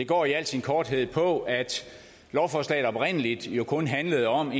det går i al sin korthed på at lovforslaget oprindelig kun handlede om